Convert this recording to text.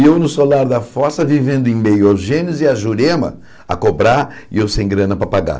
E eu no solar da fossa, vivendo em meio aos gênios, e a Jurema a cobrar, e eu sem grana para pagar.